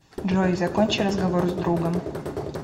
джой закончи разговор с другом